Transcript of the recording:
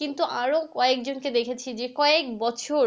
কিন্তু আবার কয়েক জন কে দেখেছি যে কয়েক বছর